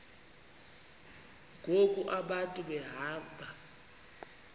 ngoku abantu behamba